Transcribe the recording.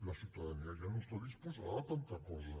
la ciutadania ja no està disposada a tanta cosa